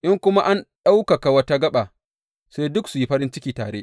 In kuma an ɗaukaka wata gaɓa, sai duk su yi farin ciki tare.